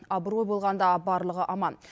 абырой болғанда барлығы аман